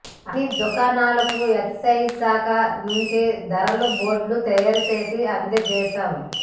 అన్ని దుకాణాలకు ఎక్సైజ్ శాఖ నుంచే ధరల బోర్డులు తయారుచేసి అందజేశాం